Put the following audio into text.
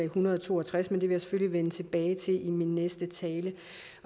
hundrede og to og tres men jeg selvfølgelig vende tilbage til i min næste tale